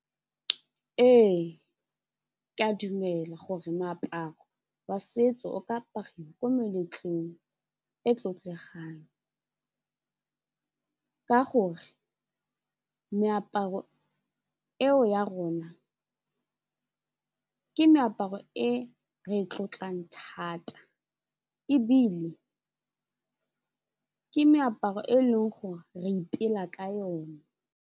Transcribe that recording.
Ee ke a dumela gore moaparo wa setso o ka apariwa ko meletlong e tlotlegang ka gore meaparo eo ya rona ke meaparo e re e tlotlang thata ebile ke meaparo e leng gore re ipela ka yone.